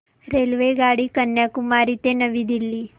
रेल्वेगाडी कन्याकुमारी ते नवी दिल्ली